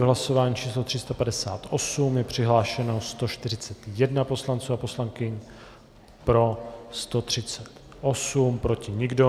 V hlasování číslo 358 je přihlášeno 141 poslanců a poslankyň, pro 138, proti nikdo.